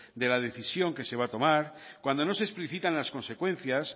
de la decisión que se va a tomar cuando no se explicitan las consecuencias